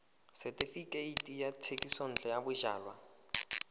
setefikeiti sa thekisontle ya bojalwa